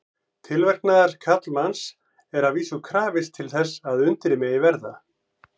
Tilverknaðar karlmanns er að vísu krafist til þess að undrið megi verða.